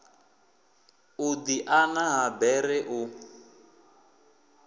u diana ha bere u